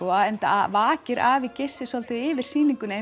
og enda vakir afi Gissi svolítið yfir sýningunni